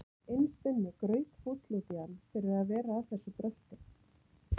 Innst inni grautfúll út í hann fyrir að vera að þessu brölti.